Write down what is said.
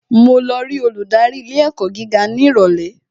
Màá lọ rí olùdarí ilé ẹ̀kọ́ gíga ní ìrọ̀lẹ́